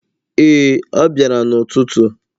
Ee, ọ bịara n’ụtụtụ.